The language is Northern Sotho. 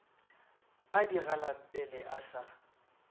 a di galampele a sa